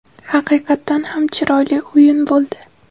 Haqiqatan ham chiroyli o‘yin bo‘ldi.